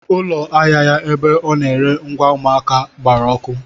Ụlọ ahịa ya ebe ọ na-ere ngwa ụmụaka gbara ọkụ.